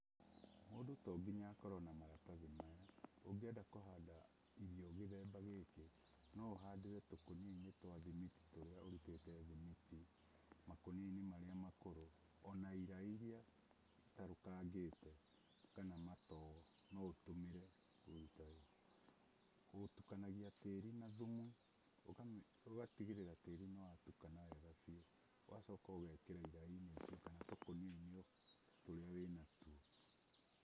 Mũndũ tonginya akorwo na maratathi maya, ũngĩenda kũhanda irio gĩthemba gĩkĩ no ũhandĩre tũkonia-inĩ twa thimiti tũrĩa ũrutĩte thimiti, makũnia-inĩ marĩa makũrũ, o na irai iria iterũkangĩte, kana matoo, no ũtũmĩre kũruta. Ũtukanagia tĩri na thumu ũgatigĩrĩra tĩri nĩ watukana wega biũ, ũgacoka ũgekĩra iraĩ-inĩ icio kana tũkonia-inĩ otou tũrĩa wĩna tuo.